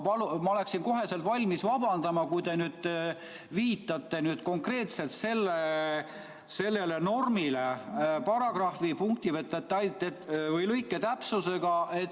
Ma oleksin kohe valmis vabandama, kui te nüüd viitaksite konkreetselt sellele normile paragrahvi, punkti või lõike täpsusega.